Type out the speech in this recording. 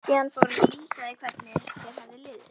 Síðan fór hún að lýsa því hvernig sér hefði liðið.